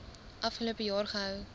afgelope jaar gehou